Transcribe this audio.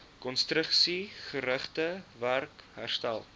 konstruksiegerigte werk herstel